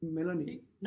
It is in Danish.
Melanie